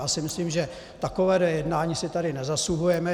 Já si myslím, že takovéhle jednání si tady nezasluhujeme.